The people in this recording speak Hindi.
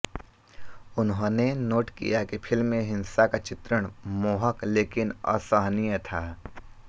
उन्होंने नोट किया कि फिल्म में हिंसा का चित्रण मोहक लेकिन असहनीय था